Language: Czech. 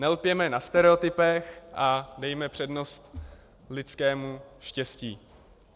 Nelpěme na stereotypech a dejme přednost lidskému štěstí.